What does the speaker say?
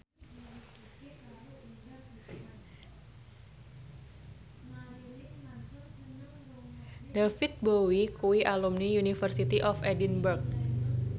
David Bowie kuwi alumni University of Edinburgh